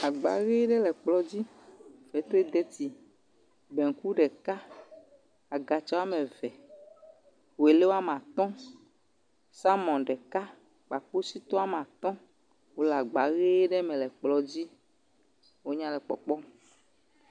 Agba ʋi ɖe le kplɔ dzi. Fetridetsi, banku ɖeka, agatsa wɔme ve, woelɛ wɔame atɔ, salumɔ ɖeka kpakpositɔ wɔame atɔ le agba ʋi ɖe me le kplɔa dzi. Wonya le kpɔkpɔm.